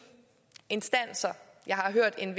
har en